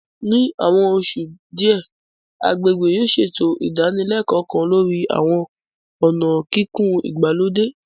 Ní àwọn oṣù díẹ̀, agbègbè yóò ṣètò ìdánilẹ́kọ̀ọ́ kan lórí àwọn ọ̀nà kíkùn ìgbàlódé